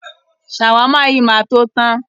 Ṣàwámà yìí máa to tán.